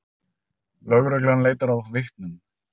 Lögreglan leitar að vitnum